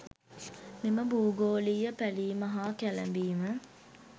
මෙම භූගෝලීය පැලීම හා කැළඹීම